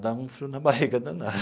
dava um frio na barriga danada.